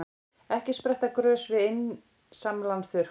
Ekki spretta grös við einsamlan þurrk.